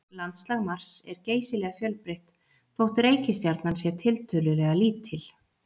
Landslag Mars er geysilega fjölbreytt þótt reikistjarnan sé tiltölulega lítil.